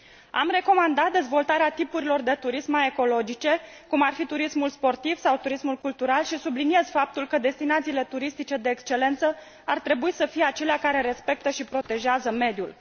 Am recomandat dezvoltarea tipurilor de turism mai ecologice, cum ar fi turismul sportiv sau turismul cultural și subliniez faptul că destinațiile turistice de excelență ar trebui să fie acelea care respectă și protejează mediul.